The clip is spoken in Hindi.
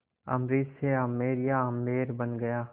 अम्बरीश से आमेर या आम्बेर बन गया